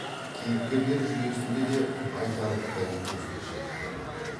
кейіпкерлер жүйесінде де айтарлықтай өзгешеліктер бар